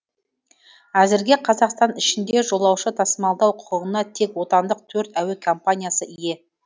әзірге қазақстан ішінде жолаушы тасымалдау құқығына тек отандық төрт әуе компаниясы ие